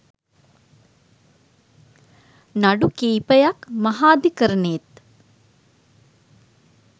නඩු කිහිපයක් මහාධිකරණයේත්